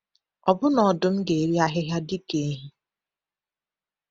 Ọbụna ọdụm ga-eri ahịhịa dị ka ehi.